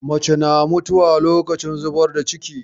Mace na mutuwa lokacin zubar da ciki.